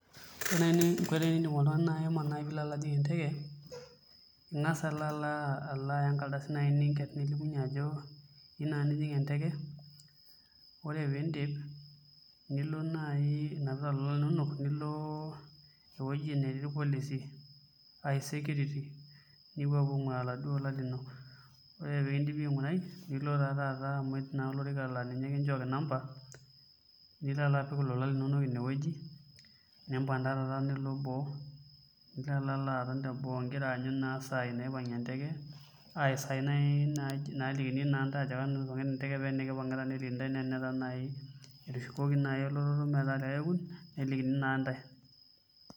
Ore naai eninko oltung'ani pee ele ajing' enteke ing'as alo aya enkardasi naai nilimunyie ajo iyieu nilo ajing' enteke ore pee iindip nilo naai inapita ilolan linonok, nilo ewueji netii irpolisi ashu security nepuo aing'uraa ilolan linonok ore pee kindipi aing'urai nilo taa taata aton tolorika laa ninye kinchooki number nilo alo apik ilolan linonok inewueji nilo taa taata boo nilo aton teboo igira aanyu naa isaai naipang'ie enteke ashu isaai naai naalikini intae esaa naipang' enteke paa naai etushukoki naai metaa likae kekun nelikini naa ntae.